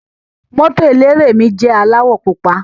Moto eléré mi jẹ aláwọ̀ pupa.